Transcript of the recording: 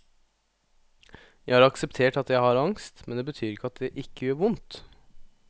Jeg har akseptert at jeg har angst, men det betyr ikke at det ikke gjør vondt.